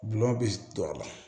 Gulɔ bɛ don a la